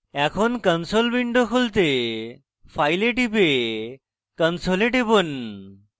এখন console window খুলতে file এ টিপে console এ টিপুন